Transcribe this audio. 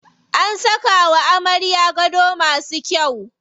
An saka wa amaryar gado masu kyau.